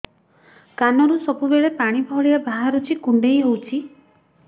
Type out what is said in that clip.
କାନରୁ ସବୁବେଳେ ପାଣି ଭଳିଆ ବାହାରୁଚି କୁଣ୍ଡେଇ ହଉଚି